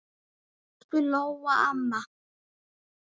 Elsku Lóa amma.